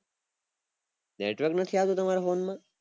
network નથી આવતું તમારા phone માં